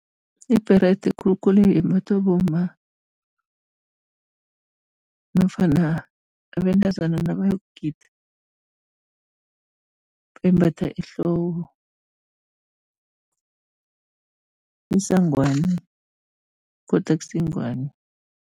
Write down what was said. Ibherede khulukhulu imbathwa bomma nofana abentazana nabayokugida, imbathwa ehloko. Isangwani kodwa akusiyingwani.